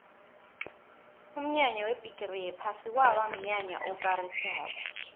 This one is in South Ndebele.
umnyanya webhigiri yephasi kwaba mnyanya okarisako